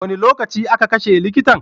Wane lokaci a ka kashe likitan?